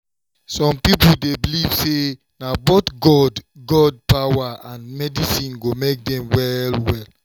some people dey believe say na both god god power and medicine go make dem well well.